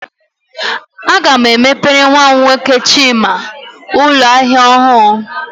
Aga m emepere nwa m nwoke Chima ụlọ ahịa ọhụrụ